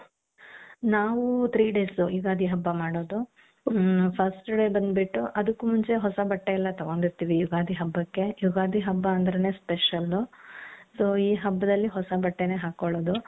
ನಾವು three days Ugadi ಹಬ್ಬ ಮಾಡೋದು ಮ್ first day ಬಂದ್ಬಿಟ್ಟು ಅದಕ್ಕೂ ಮುಂಚೆ ಹೊಸ ಬಟ್ಟೆ ಎಲ್ಲಾ ತಗೊಂಡಿರ್ತೀವಿ ಯುಗಾದಿ ಹಬ್ಬಕ್ಕೆ ಯುಗಾದಿ ಹಬ್ಬ ಅಂದ್ರೇನೆ special so ಈ ಹಬ್ದಲ್ಲಿ ಹೊಸ ಬಟ್ಟೆನೆ ಹಾಕ್ಕೊಳ್ಳೋದು .